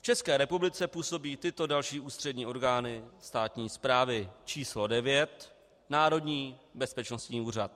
V České republice působí tyto další ústřední orgány státní správy: číslo 9 - Národní bezpečnostní úřad.